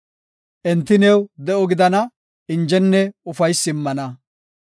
Enti new de7o gidana; injenne ufaysi immana.